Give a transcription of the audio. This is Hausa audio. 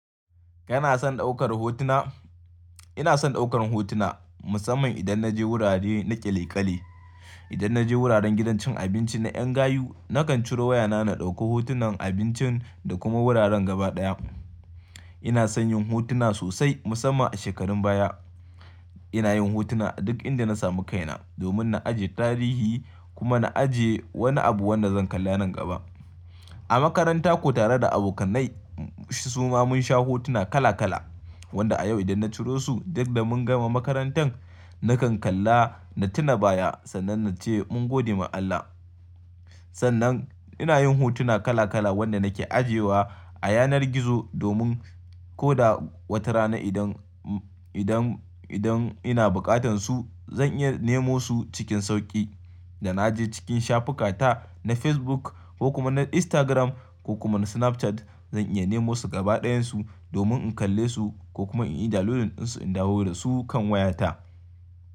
Kana son daukar hotuna? Ina son daukar hotuna musamman idan naje wurare na ƙyale-ƙyale. Idan naje wuraren gidan cin abinci na ƴan gayu nakan ciro wayana na ɗauki hotunan abincin da kuma wuraren gaba ɗaya. Ina son yin hotuna sosai musamman a shekarun baya. Ina yin hotuna duk inda na samu kaina domin na ajiye tarihi kuma na ajiye wani abu wanda zan kalla nan gaba. A makaranta ko tare da abokanai suma mun sha hotuna kala kala wanda a yau idan na ciro su duk da mun gama makarantan nakan kalla na tuna baya sannan na ce mun gode ma Allah. Sannan ina yin hotuna kala kala wanda nake ajiyewa a yanar gizo domin ko da wata rana idan, idan, idan ina buƙatar su zan iya nemo su cikin sauƙi. Da na je cikin shafukata na Facebook ko kuma na Instagram ko kuma na Snapchat zan iya nemo su gaba ɗayansu domin in kalle su ko kuma in yi dalilin ɗinsu in dawo da su kan wayata.